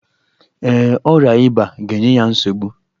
Ee, ọrịa ịba ga-enye ya nsogbu.